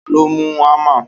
taló mú hámà?